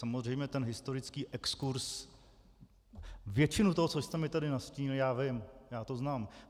Samozřejmě ten historický exkurz... většinu toho, co jste mi tady nastínil, já vím, já to znám.